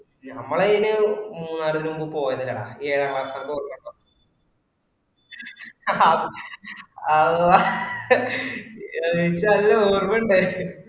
ഞമ്മള് അയിന് മൂന്നാര് ഇത് മുമ്പ് പോയത ഏറെ അള്ളാഹ് ഇനിക്ക് നല്ല ഓർമണ്ടയ്‌നും.